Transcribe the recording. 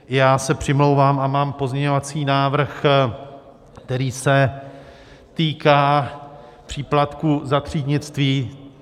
Já se přimlouvám a mám pozměňovací návrh, který se týká příplatku za třídnictví.